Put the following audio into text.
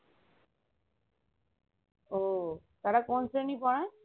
ওহ তারা কোন শ্রেণী পড়াই?